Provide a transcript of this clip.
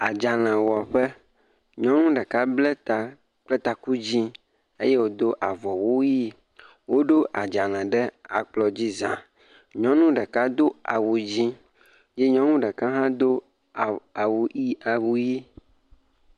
Adzalewɔƒe, nyɔnu ɖeka ble ta kple taku dzɛ̃ eye wòdo avɔwu ʋɛ̃, woɖo adzale ɖe akplɔ dzi za. Nyɔnu ɖeka do awu dzɛ̃ ye nyɔnu ɖeka hã do awu awu ii ʋɛ̃.